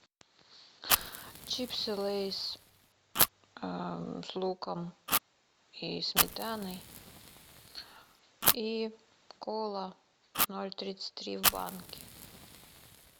чипсы лейс с луком и сметаной и кола ноль тридцать три в банке